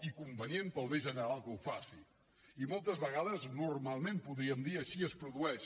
i convenient per al bé general que ho faci i moltes vegades normalment ho podríem dir així es produeix